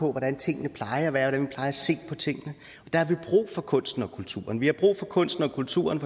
hvordan tingene plejer at være og der har vi brug for kunsten og kulturen vi har brug for kunsten og kulturen